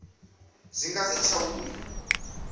zwi nga si tsha vhuya